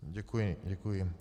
Děkuji, děkuji.